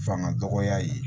Fanga dɔgɔya ye